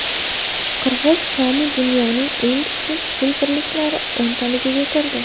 Qirg‘iz somi dunyoning eng kuchsiz pul birliklari o‘ntaligiga kirdi.